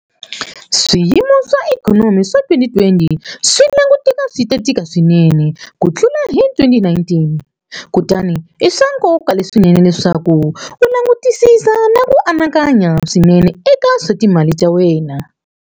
Swiyimo swa ikhonomi swa 2020 swi languteka swi ta tika swinene ku tlula hi 2019, kutani i swa nkoka swinene leswaku u langutisisa na ku anakanya swinene eka swa timali ta wena.